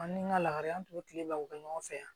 An ni n ka lahara an tora kile la u be ɲɔgɔn fɛ yan